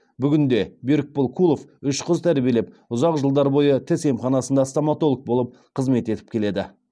бүгінде берікбол кулов үш қыз тәрбиелеп ұзақ жылдар бойы тіс емханасында стоматолог болып қызмет етіп келеді